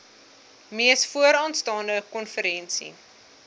mees vooraanstaande konferensie